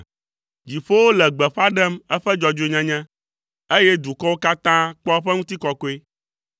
Dziƒowo le gbeƒã ɖem eƒe dzɔdzɔenyenye, eye dukɔwo katã kpɔ eƒe ŋutikɔkɔe.